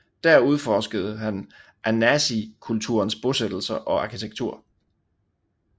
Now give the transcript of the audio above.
Der udforskede han anasazikulturens bosættelser og arkitektur